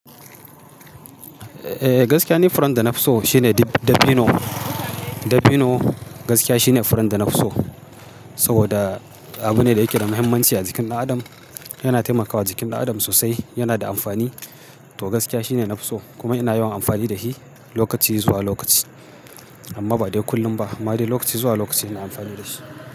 Eh gaskiya ne furan da nafi so shine dabino. Dabino gaskiya shine furan da nafi so, saboda abu ne da yake da muhimmanci a jikin ɗan adam. Yana taimakawa jikin ɗan adam sosai, yana da amfani to gaskiya shine nafi so kuma ina yawan amfani da shi lokaci zuwa lokaci. Amma ba dai kullum ba, amma dai lokaci zuwa lokaci ina amfani da shi.